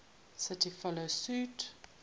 cities follow suit